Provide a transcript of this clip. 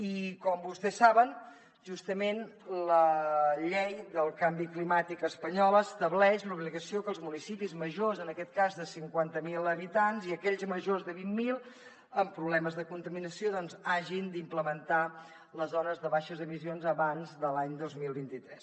i com vostès saben justament la llei del canvi climàtic espanyola estableix l’obligació que els municipis majors en aquest cas de cinquanta mil habitants i aquells majors de vint mil amb problemes de contaminació doncs hagin d’implementar les zones de baixes emissions abans de l’any dos mil vint tres